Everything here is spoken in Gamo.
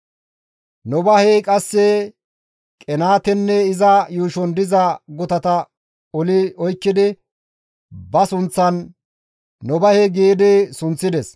Nobahey qasse Qenaatenne iza yuushon diza gutata oli oykkidi ba sunththan, «Nobahe» gi sunththides.